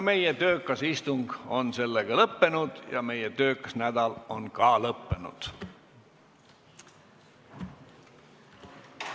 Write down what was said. Meie töökas istung on lõppenud ja ka meie töökas nädal on lõppenud.